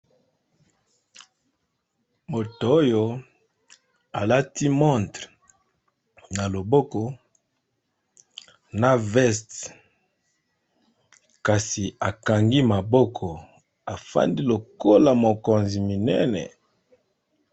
Moto oyo alati montre na loboko na veste kasi akangi maboko afandi lokola mokonzi minene.